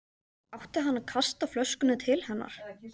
Átti hann að kasta flöskunni til hennar?